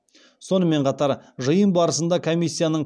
сонымен қатар жиын барысында комиссияның